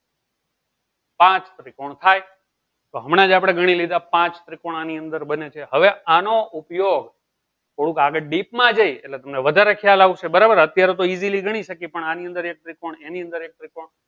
પાંચ ત્રિકોણ થાય તો હમણાંજ અપડે ગની લીધા આ પાંચ ત્રિકોણ ની અંદર બને છે હવે આનો ઉપયોગ થોડું આગળ ડીપ માં જી તમને વધારે ખ્યાલ આવશે બરાબર અત્યારે તો easily ગની સક્યે પણ આની અંદર એક ત્રિકોણ એની અંદર એક ત્રિકોણ